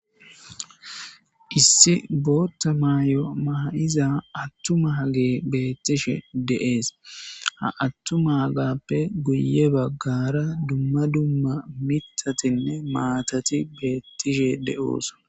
Issi bootta maayo maha7iza attuma ha gee beettishe deees ha attuma hagappe guye baggara dumma dumma mitatinne maatati beettishe de7oosa.